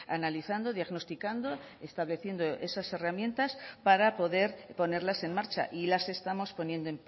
analizando diagnosticando estableciendo esas herramientas para poder ponerlas en marcha y las estamos poniendo